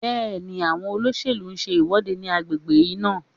Bẹ́ẹ̀ni, àwọn olóṣèlú ń ṣe ìwọ́de ní agbègbè yín náà